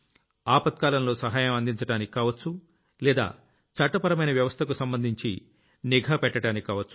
ఆపత్కాలంతో సహాయం అందించడానికి కావొచ్చు లేదా చట్టపరమైన వ్యవస్థకు సంబంధించి నిఘా పెట్టడానికి కావొచ్చు